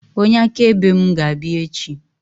Onye akaebe mụ ga-abịa echi